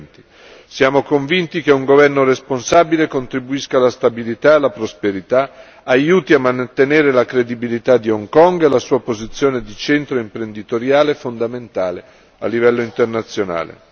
2020. Siamo convinti che un governo responsabile contribuisca alla stabilità e alla prosperità, aiuti a mantenere la credibilità di Hong Kong e la sua posizione di centro imprenditoriale fondamentale a livello internazionale.